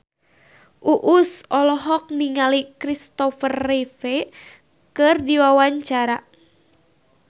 Uus olohok ningali Kristopher Reeve keur diwawancara